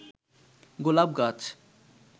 গোলাপ গাছ